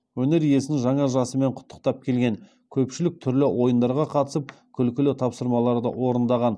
өнер иесін жаңа жасымен құттықтап келген көпшілік түрлі ойындарға қатысып күлкілі тапсырмаларды орындаған